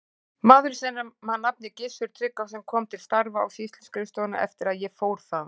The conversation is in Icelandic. Maður að nafni Gissur Tryggvason kom til starfa á sýsluskrifstofuna eftir að ég fór þaðan.